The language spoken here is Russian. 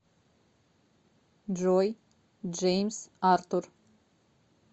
джой джеймс артур